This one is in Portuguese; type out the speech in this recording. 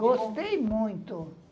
Gostei muito.